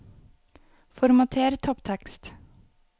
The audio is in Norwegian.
Formater topptekst